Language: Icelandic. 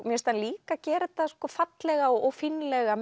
finnst hann líka gera þetta fallega og fínlega